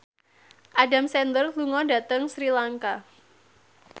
Adam Sandler lunga dhateng Sri Lanka